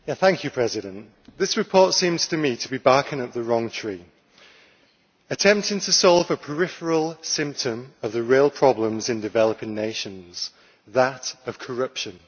Madam President, this report seems to me to be barking up the wrong tree, attempting to solve a peripheral symptom of the real problem in developing nations, that of corruption.